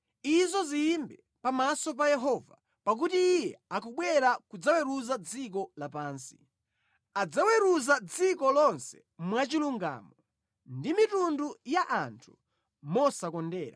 izo ziyimbe pamaso pa Yehova, pakuti Iye akubwera kudzaweruza dziko lapansi. Adzaweruza dziko lonse mwachilungamo, ndi mitundu ya anthu mosakondera.